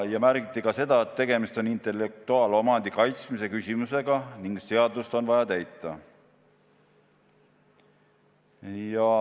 Veel märgiti seda, et tegemist on ka intellektuaalomandi kaitsmise küsimusega ning seadust on vaja täita.